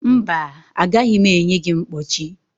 mba, agaghị m enye gị mkpọchi